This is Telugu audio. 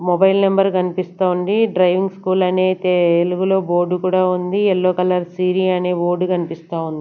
మొబైల్ నెంబర్ గన్పిస్తాంది డ్రైవింగ్ స్కూల్ అనైతే ఎలుగులో బోర్డు కూడా ఉంది యెల్లో కలర్ సీరీ అనే బోర్డ్ గన్పిస్తా ఉం--